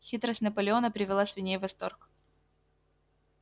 хитрость наполеона привела свиней в восторг